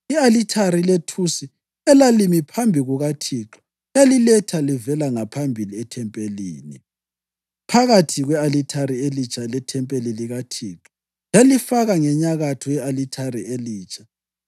I-alithari lethusi elalimi phambi kukaThixo yaliletha livela ngaphambili ethempelini, phakathi kwe-alithari elitsha lethempeli likaThixo, yalifaka ngenyakatho ye-alithare elitsha.